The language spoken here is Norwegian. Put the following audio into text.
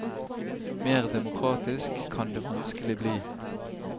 Mer demokratisk kan det vanskelig bli.